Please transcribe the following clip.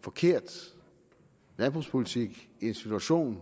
forkert landbrugspolitik i en situation